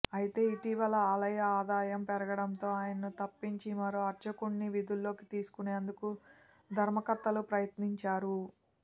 అయితే ఇటీవల ఆలయ ఆదాయం పెరగడంతో ఆయనను తప్పించి మరో అర్చకుడ్ని విధుల్లోకి తీసుకునేందుకు ధర్మకర్తలు ప్రయత్నించారు